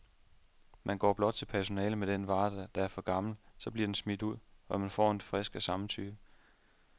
Man går blot til personalet med den vare, der er for gammel, så bliver den smidt ud, og man får en frisk af samme type.